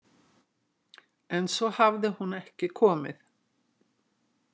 En svo hafði hún ekki komið.